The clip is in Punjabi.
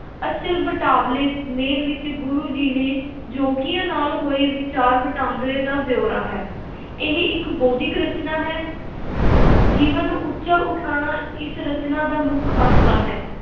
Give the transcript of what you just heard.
ਅਚਲ ਬਟਾਵਲੇ ਮੇਲ ਵਿਚ ਗੁਰੂ ਜੀ ਨੇ ਜੋਗੀਆਂ ਨਾਲ ਹੋਏ ਵਿਚਾਰ – ਵਟਾਂਦਰੇ ਦਾ ਬਿਓਰਾ ਹੈ। ਇਹ ਇਕ ਬੌਧਿਕ ਰਚਨਾ ਹੈ। ਜੀਵਨ ਉੱਚਾ ਉਠਾਉਣਾ ਇਸ ਰਚਨਾ ਦਾ ਮੁੱਖ ਆਸ਼ਾ ਹੈ।